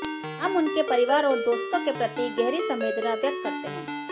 हम उनके परिवार और दोस्तों के प्रति गहरी संवेदना व्यक्त करते हैं